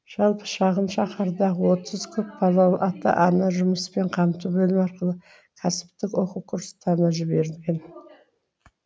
жалпы шағын шаһардағы отыз көпбалалы ата ана жұмыспен қамту бөлімі арқылы кәсіптік оқу курстарына жіберілген